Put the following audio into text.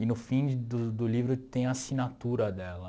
e no fim do do livro tem a assinatura dela.